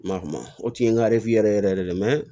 Ma kuma o tun ye n ka yɛrɛ yɛrɛ yɛrɛ de